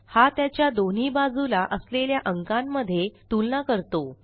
हा त्याच्या दोन्ही बाजूला असलेल्या अंकांमध्ये तुलना करतो